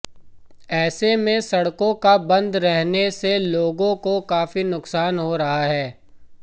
ऐसे में सड़कों का बंद रहने से लोगों को काफी नुकसान हो रहा है